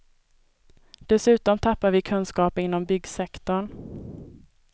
Dessutom tappar vi kunskaper inom byggsektorn.